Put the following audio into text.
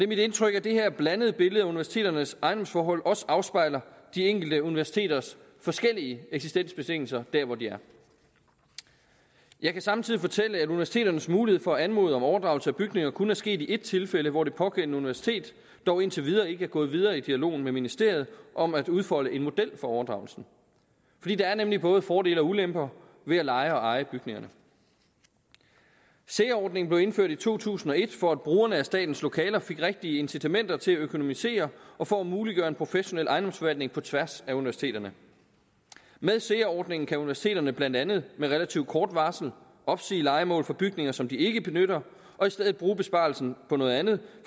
mit indtryk at det her blandede billede af universiteternes ejendomsforhold også afspejler de enkelte universiteters forskellige eksistensbetingelser der hvor de er jeg kan samtidig fortælle at universiteternes mulighed for at anmode om overdragelse af bygninger kun er sket i ét tilfælde hvor det pågældende universitet dog indtil videre ikke er gået videre i dialogen med ministeriet om at udfolde en model for overdragelsen der er nemlig både fordele og ulemper ved at leje og eje bygningerne sea ordningen blev indført i to tusind og et for at brugerne af statens lokaler fik rigtige incitamenter til at økonomisere og for at muliggøre en professionel ejendomsforvaltning på tværs af universiteterne med sea ordningen kan universiteterne blandt andet med relativt kort varsel opsige lejemålet for bygninger som de ikke benytter og i stedet bruge besparelsen på noget andet